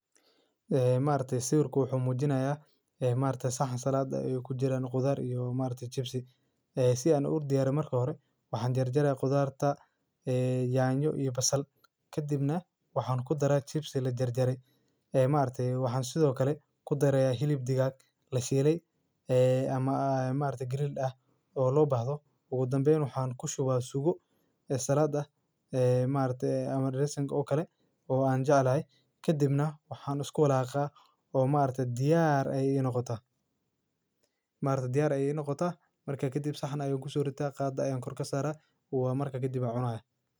Eh maarte siurku wuxuu muujinayaa, eh, maarte saxan salaada ayuu ku jiraan khudaar iyo maarte chips, eh, si aan u diyaaray marka hore. Waxaan jar jaray khudaarta, eh, yaanyo iyo basal. Ka dibna waxaan ku daray chips la jar jaray, eh, maante waxaan sidoo kale ku darayaa hilib digaa la sheelay, eh, ama, ah maanta grill ah oo loo baahdo. Ugu dambeyn waxaan ku shubaa sugu, eh, salaada, eh, maanta amani rice oo kale oo aan jeclay. Ka dibna waxaan iskool ahaa ka ah oo maanta diyaar ayay inoo kota. Maanta diyaar ayay inoo koota. Markaa ka dib saxan ayuu ugu suurtaa qaad ah ayuu kormeer ka saara. Waa markaa ka dib acno ah.